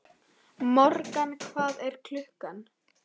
Morgan, hvað er klukkan?